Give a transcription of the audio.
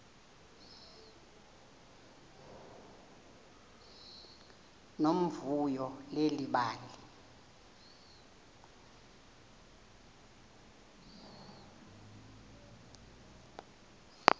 nomvuyo leli bali